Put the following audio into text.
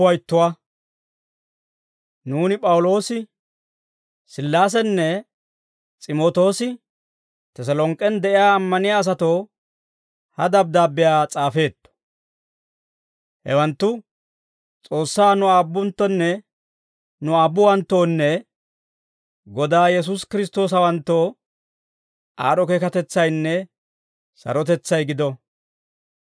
Nuuni P'awuloosi, Sillaasenne S'imootoosi Teselonk'k'en de'iyaa ammaniyaa asatoo ha dabddaabbiyaa s'aafeetto; hewanttu S'oossaa nu Aabbuwanttoonne Godaa Yesuusi Kiristtoosawanttoo, aad'd'o keekatetsaynne sarotetsay gido.